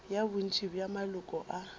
ya bontši bja maloko a